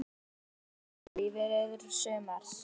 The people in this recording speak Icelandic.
Hvert er markmið liðsins það sem eftir lifir sumars?